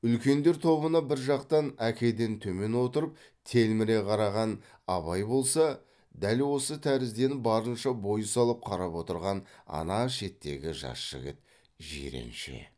үлкендер тобына бір жақтан әкеден төмен отырып телміре қараған абай болса дәл осы тәрізденіп барынша бой салып қарап отырған ана шеттегі жас жігіт жиренше